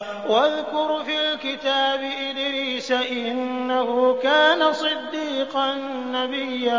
وَاذْكُرْ فِي الْكِتَابِ إِدْرِيسَ ۚ إِنَّهُ كَانَ صِدِّيقًا نَّبِيًّا